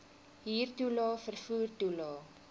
huurtoelae vervoer toelae